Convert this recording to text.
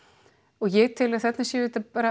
og ég tel að þarna séu